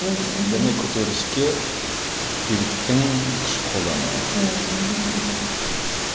мхм және көтеріліске биліктің күш қолдануы мхм